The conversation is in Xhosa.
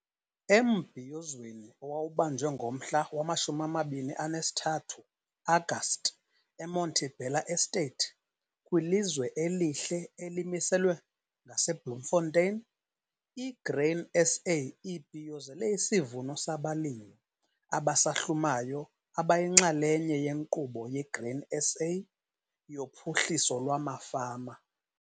Embhiyozweni owawubanjwe ngomhla wama-23 Agasti eMonte Bella Estate, kwilizwe elihle elimiselwe ngaseBloemfontein, i-Grain SA ibhiyozele isivuno sabalimi abasahlumayo abayinxalenye yeNkqubo yeGrain SA yoPhuhliso lwamaFama.